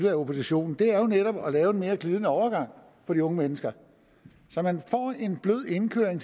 af oppositionen er netop at lave en mere glidende overgang for de unge mennesker så man får en blød indkøring